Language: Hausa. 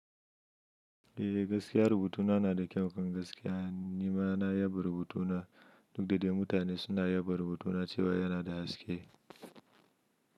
Eh gaskiya rubutuna na da kyau kan gaskiya. Ni ma na yaba rubutuna duk da dai mutane suna yaba rubutuna cewa yana da haske.